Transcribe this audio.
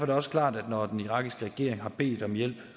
det også klart at når den irakiske regering har bedt om hjælp